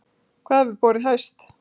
Hvað hefur borið hæst?